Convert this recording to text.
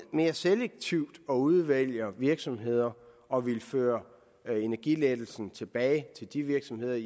mere selektivt ind og udvælger virksomheder og vil føre energilettelsen tilbage til de virksomheder